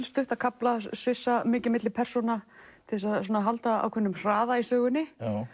stutta kafla svissa mikið milli persóna til að halda ákveðnum hraða í sögunni